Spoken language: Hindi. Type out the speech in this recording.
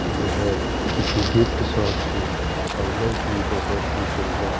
यह किसी गिफ्ट शॉप के अंदर की बहोत हि सुंद--